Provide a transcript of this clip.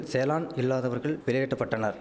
செலான் இல்லாதவர்கள் வெளியேற்ற பட்டனர்